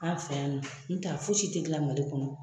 An fɛ yan in nɔn n t'a fosi tɛ gilan Mali kɔnɔ